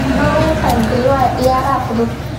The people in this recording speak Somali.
Muxuu uga qaybgeli waayay ciyaaraha fudud?